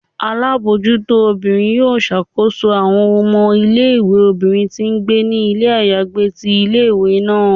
Alabojuto obírín yọọ ṣakoso awọn ọmọ ìlé-ìwé obinrín ti ngbé ni ilé ayagbé tí ìlé-ìwé naa